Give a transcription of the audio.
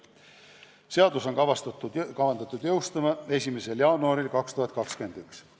Seadus on kavandatud jõustuma 1. jaanuaril 2021.